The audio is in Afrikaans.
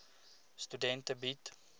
studente bied